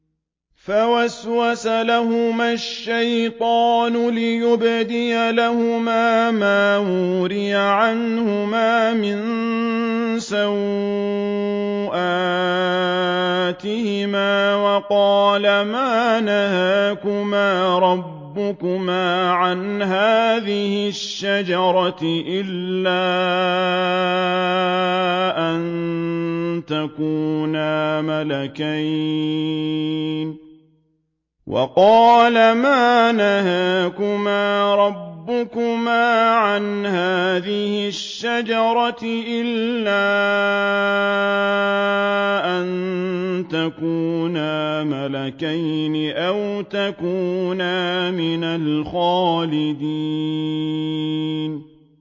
فَوَسْوَسَ لَهُمَا الشَّيْطَانُ لِيُبْدِيَ لَهُمَا مَا وُورِيَ عَنْهُمَا مِن سَوْآتِهِمَا وَقَالَ مَا نَهَاكُمَا رَبُّكُمَا عَنْ هَٰذِهِ الشَّجَرَةِ إِلَّا أَن تَكُونَا مَلَكَيْنِ أَوْ تَكُونَا مِنَ الْخَالِدِينَ